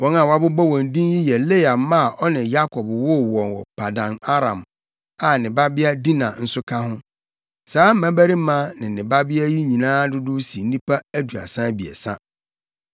Wɔn a wɔabobɔ wɔn din yi yɛ Lea mma a ɔne Yakob woo wɔ Paddan-Aram a ne babea Dina nso ka ho. Saa mmabarima ne ne babea yi nyinaa dodow si nnipa aduasa abiɛsa.